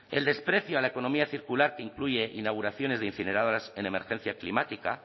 el desprecio a la economía circular que incluye inauguraciones de incineradoras en emergencia climática